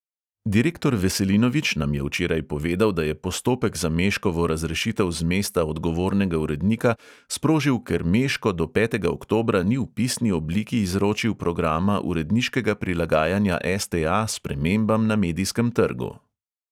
Direktor veselinovič nam je včeraj povedal, da je postopek za meškovo razrešitev z mesta odgovornega urednika sprožil, "ker meško do petega oktobra ni v pisni obliki izročil programa uredniškega prilagajanja STA spremembam na medijskem trgu".